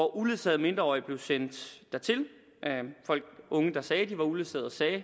uledsagede mindreårige blev sendt unge der sagde at de var uledsagede